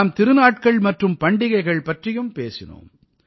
நாம் திருநாட்கள் மற்றும் பண்டிகைகள் பற்றியும் பேசினோம்